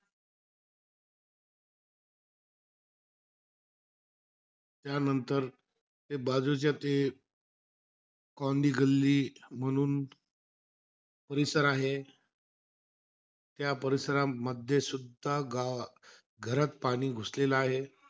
त्यांनतर ते बाजूचे ते कौंदी गल्ली म्हणून परिसर आहे. त्या परिसरामध्ये सुद्धा गा घरात पाणी घुसलेला आहे.